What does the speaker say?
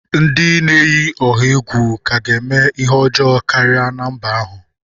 Ndị na-eyi ọha egwu ka ga-eme ihe ọjọọ karịa na mba ahụ.